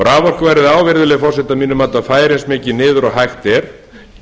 raforkuverð á virðulegi forseti að færa eins mikið niður og hægt er